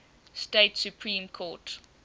state supreme court